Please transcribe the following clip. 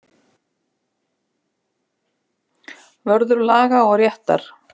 Vörður laga og réttar.